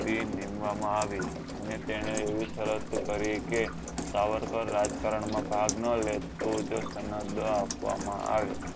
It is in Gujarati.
તે નીમવા માં આવી ને તેને એવી શરત કરી કે સાવરકર રાજકારણ માં ભાગ નાં લે તો જ સમુદ્ર આપવા માં આયો